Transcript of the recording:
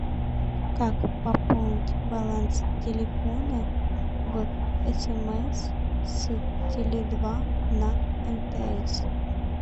как пополнить баланс телефона в смс с теле два на мтс